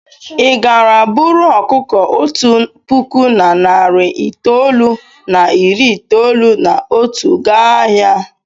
Ị gara buru ọkụkọ otu puku na narị itoolu na iri itoolu na otu gaa ahịa?